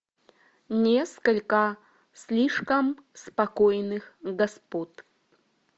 несколько слишком спокойных господ